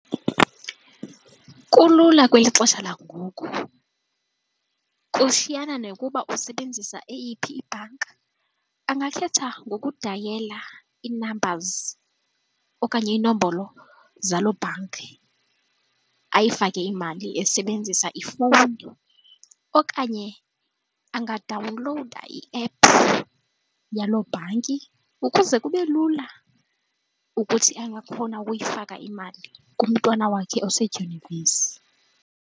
Kulula kweli xesha langoku. Kushiyana nokuba usebenzisa eyiphi ibhanka, angangakhetha ngoku dayela ii-numbers okanye inombolo zaloo bhanki ayifake imali esebenzisa ifowuni okanye angadawunlowuda iephu yaloo bhanki ukuze kube lula ukuthi angakhona ukuyifaka imali kumntwana wakhe osedyunivesi.